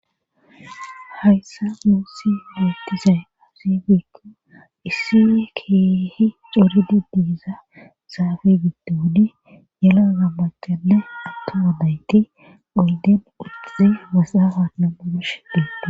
Hayssa muussi huretizay azibikko issine kiehi coridi diiza saafi giddu wudi yelaza macale atto gadayti oldin uqizi wasaawa namudush deendo.